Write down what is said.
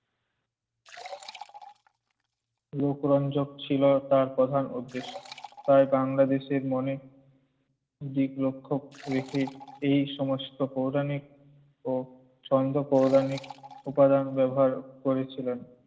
লোকরঞ্জক ছিল তার প্রধান উদ্দেশ্য। তায় বাংলাদেশির মনে দিক লক্ষ রেখে এই সমস্ত পৌরাণিক ও সঙ্গ প্রধানিক উপাদান ব্যবহার করেছিলেন।